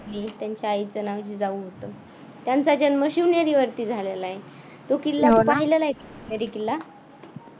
आणि त्यांच्या आईचे नाव जिजाऊ होतं. त्यांचा जन्म शिवनेरी वरती झालेला आहे मला तू पाहिला आहेस पहिला आहेस का शिवनेरी किल्ला